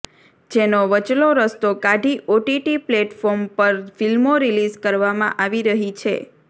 જેનો વચલો રસ્તો કાઢી ઓટીટી પ્લેટફોર્મ પર ફિલ્મો રિલીઝ કરવામાં આવી રહી છે